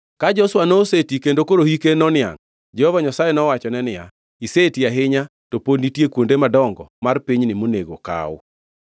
Ka Joshua noseti kendo hike koro noniangʼ, Jehova Nyasaye nowachone niya, “Iseti ahinya, to pod nitie kuonde madongo mar pinyni monego kaw.